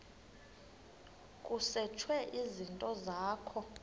kusetshwe izinto zakho